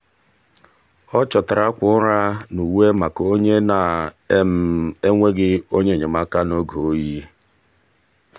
ọ chọtara akwa ụra na uwe maka onye na-enweghị onye enyemaka n'oge oyi.